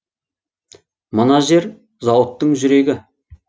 мына жер зауыттың жүрегі